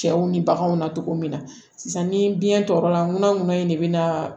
Cɛw ni baganw na cogo min na sisan ni biɲɛ tɔɔrɔla muna ŋuna in de bɛ na